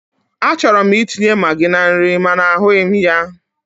Achọrọ m itinye magi na nri mana ahụghị m ya.